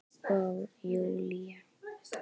Og Júlía